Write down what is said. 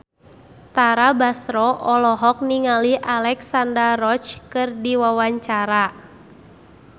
Tara Basro olohok ningali Alexandra Roach keur diwawancara